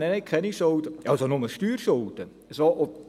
Nein, ich habe ich keine Schulden – das heisst, nur Steuerschulden».